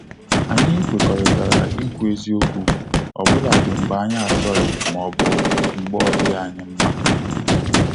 Anyị kwerorita ikwu eziokwu, ọ bụladi mgbe anyị achọghị ma ọbụ mgbe na ọ dịghị anyị mma